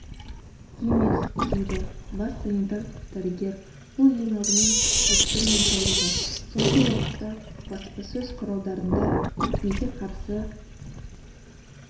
емес дейді бас санитар-дәрігер бұл ең алдымен ұлттың денсаулығы соңғы уақытта баспасөз құралдарында екпеге қарсы